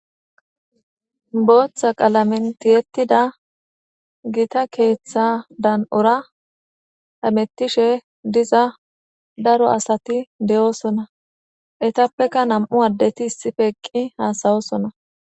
Booththa qalamentiyettida gita keeththa dan'ora hamettishe diza daro asati de'oosona etappeka nam'u addeti issife eqqi haasayosona.